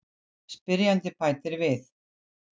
Spyrjandi bætir við:.